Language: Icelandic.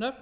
nöfn